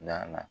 Danna